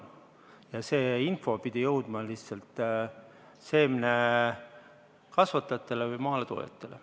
Lihtsalt see info pidi jõudma seemnekasvatajate või maaletoojateni.